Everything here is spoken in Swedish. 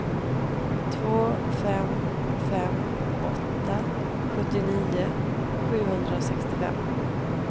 två fem fem åtta sjuttionio sjuhundrasextiofem